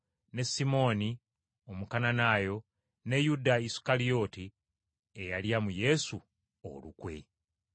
ne Simooni, Omukananaayo; ne Yuda Isukalyoti, eyalya mu Yesu olukwe.